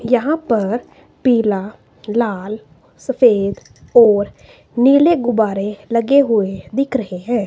यहां पर पीला लाल सफेद और नीले गुब्बारे लगे हुए दिख रहे है।